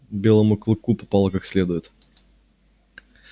белому клыку попало как следует